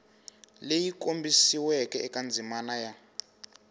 leyi kombisiweke eka ndzimana ya